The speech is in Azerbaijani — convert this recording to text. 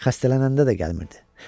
Xəstələnəndə də gəlmirdi.